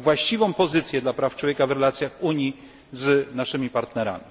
właściwą pozycję dla praw człowieka w relacjach Unii z naszymi partnerami.